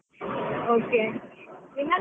Okay.